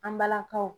An balakaw